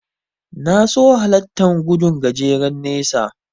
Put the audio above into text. Na so hallartan gudun gajeren nesa.